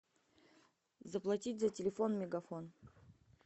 заплатить за телефон мегафон